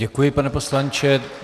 Děkuji, pane poslanče.